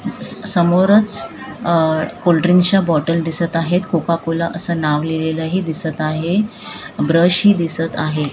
समोरच अह कोल्ड्रिंक्स च्या बॉटल दिसत आहेत कोको कोला असं नाव लिहिलेले ही दिसत आहे ब्रश ही दिसत आहे.